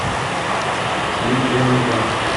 миг за мигом